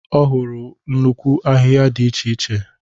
Ọ hụrụ nnukwu ahịhịa dị iche iche.